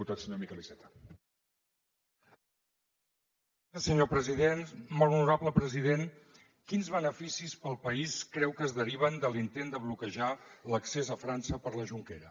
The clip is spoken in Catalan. molt honorable president quins beneficis per al país creu que es deriven de l’intent de bloquejar l’accés a frança per la jonquera